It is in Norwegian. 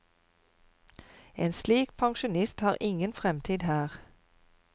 En slik pensjonist har ingen fremtid her.